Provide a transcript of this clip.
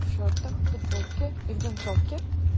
в шортах в футболке и в джинсовке